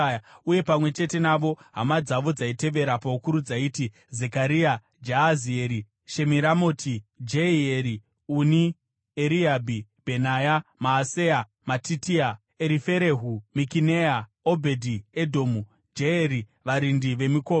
uye pamwe chete navo hama dzavo dzaitevera paukuru dzaiti: Zekaria, Jaazieri, Shemiramoti, Jehieri, Uni, Eriabhi, Bhenaya, Maaseya, Matitia, Eriferehu, Mikineya, Obhedhi-Edhomu, Jeyeri varindi vemikova.